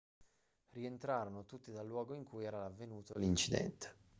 rientrarono tutti dal luogo in cui era avvenuto l'incidente